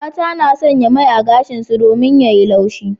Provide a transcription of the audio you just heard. Mata na sanya mai a gashin su domin ya yi laushi.